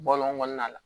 Bɔlɔn kɔnɔna la